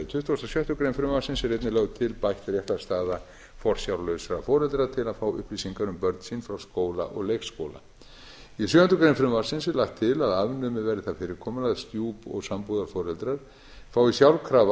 og sjöttu greinar frumvarpsins er einnig lögð til bætt réttarstaða forsjárlausra foreldra til að fá upplýsingar um börn sín frá skóla og leikskóla í sjöundu greinar frumvarpsins er lagt til að afnumið verði það fyrirkomulag að stjúp og sambúðarforeldrar fái sjálfkrafa